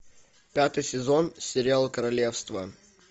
пятый сезон сериал королевство